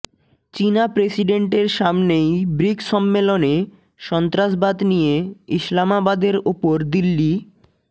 চিনা প্রেসিডেন্টের সামনেই ব্রিকস সম্মেলনে সন্ত্রাসবাদ নিয়ে ইসলামাবাদের ওপর দিল্লি